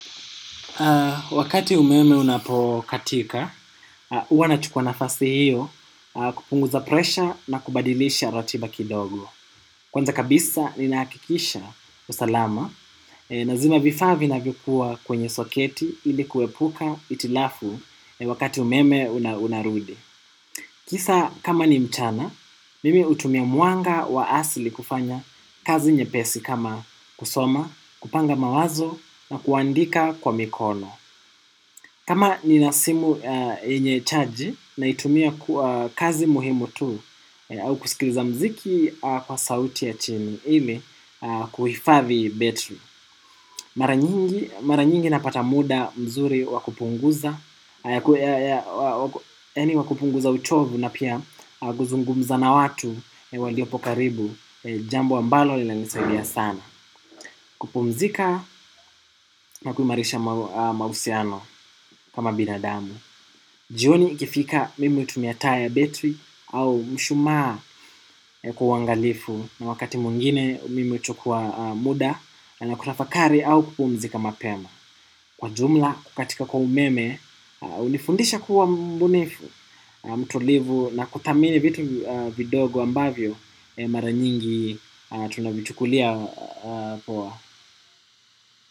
Wakati umeme unapokatika, huwa nachukua nafasi hiyo kupunguza presha na kubadilisha ratiba kidogo. Kwanza kabisa ninahakikisha usalama na zima vifaa vinavyokuwa kwenye soketi ili kuepuka hitilafu wakati umeme unarudi. Kisa kama ni mchana, mimi hutumia mwanga wa asili kufanya kazi nyepesi kama kusoma, kupanga mawazo na kuandika kwa mikono. Kama ninasimu yenye charge naitumia kwa kazi muhimu tu au kusikiliza muziki kwa sauti ya chini ili kuhifadhi battery. Mara nyingi napata muda mzuri wa kupunguza yaani wa kupunguza uchovu na pia kuzungumza na watu waliopo karibu jambo ambalo linanisaidia sana kupumzika na kuimarisha mahusiano kama binadamu. Jioni ikifika mimi hutumia taa ya battery au mshumaa kuangalifu na wakati mwingine mimi huchukua muda na kutafakari au kupumzika mapema. Kwa jumla kukatika kwa umeme unifundisha kuwa mbunifu mtulivu na kuthamini vitu vidogo ambavyo mara nyingi tunavichukulia poa.